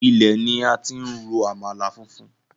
Ilẹ̀ ni a ti ń ro àmàlà funfun.